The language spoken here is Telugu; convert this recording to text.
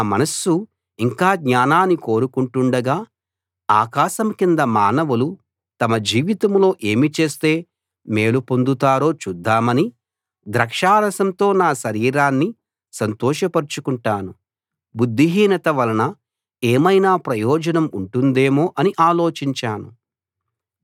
నా మనస్సు ఇంకా జ్ఞానాన్ని కోరుకుంటుండగా ఆకాశం కింద మానవులు తమ జీవితంలో ఏమి చేస్తే మేలు పొందుతారో చూద్దామని ద్రాక్షారసంతో నా శరీరాన్ని సంతోషపరచుకొంటాను బుద్ధిహీనత వలన ఏమైనా ప్రయోజనం ఉంటుందేమో అని ఆలోచించాను